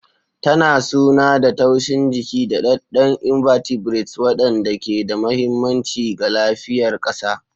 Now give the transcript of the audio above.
Tana suna da taushin jiki, daɗaɗɗen invertebrates waɗanda ke da mahimmanci ga lafiyar ƙasa.